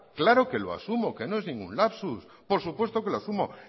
claro que lo asumo que no es ningún lapsus por supuesto que lo asumo